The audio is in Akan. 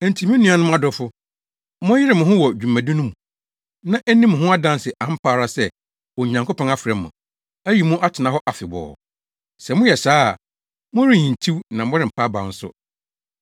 Enti me nuanom adɔfo, monyere mo ho wɔ dwuma no di mu, na enni mo ho adanse ampa ara sɛ Onyankopɔn afrɛ mo, ayi mo atena hɔ afebɔɔ. Sɛ moyɛ saa a, morenhintiw na morempa abaw nso.